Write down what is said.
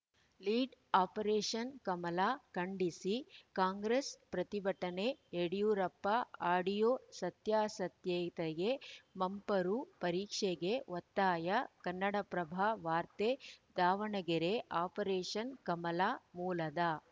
lead operation Kamala ಖಂಡಿಸಿ ಕಾಂಗ್ರೆಸ್‌ ಪ್ರತಿಭಟನೆ Yediyurappa audio ಸತ್ಯಾಸತ್ಯತೆಗೆ ಮಂಪರು ಪರೀಕ್ಷೆಗೆ ಒತ್ತಾಯ ಕನ್ನಡಪ್ರಭ ವಾರ್ತೆ ದಾವಣಗೆರೆ ಆಪರೇಷನ್‌ ಕಮಲ ಮೂಲದ